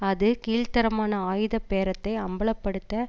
அது கீழ்த்தரமான ஆயுத பேரத்தை அம்பல படுத்த